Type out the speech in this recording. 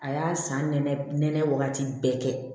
A y'a san nɛnɛ nɛnɛ waati bɛɛ kɛ